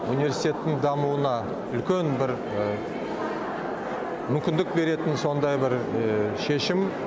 университеттің дамуына үлкен бір мүмкіндік беретін сондай бір шешім